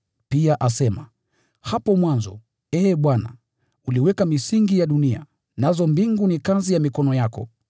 Pia asema, “Hapo mwanzo, Ee Bwana, uliweka misingi ya dunia, nazo mbingu ni kazi ya mikono yako.